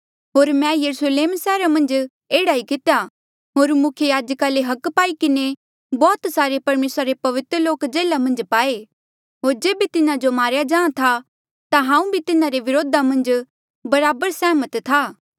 होर मैं यरुस्लेम सैहरा मन्झ एह्ड़ा ई कितेया होर मुख्य याजका ले अधिकार पाई किन्हें बौह्त सारे परमेसरा रे पवित्र लोक जेल्हा मन्झ पाए होर जेबे तिन्हा जो मारेया जाहाँ था ता हांऊँ भी तिन्हारे व्रोधा मन्झ बराबर सैहमत था